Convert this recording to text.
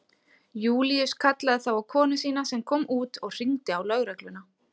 Júlíus kallaði þá á konu sína sem kom út og hringdi á lögregluna.